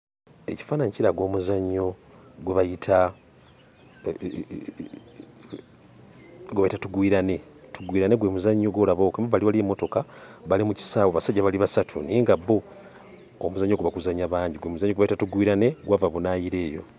Ekifaananyi kiraga omuzannyo gwe bayita gwe bayita tugwirane tugwirane gwe muzannyo gw'olaba ogwo emabbali waliyo emmotoka bali mu kisaawe basajja bali basatu naye nga bo omuzannyo ogwo baguzannya bangi gwe muzannyo gwe bayita tugwirane gwava bunaayira eyo.